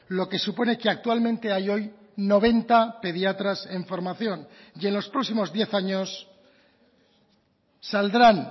lo que supone que actualmente hay hoy noventa pediatras en formación y en los próximos diez años saldrán